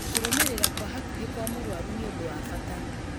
Kũrũmĩrĩra kwa hakuhĩ kwa mũrũaru nĩ ũndũ wa bata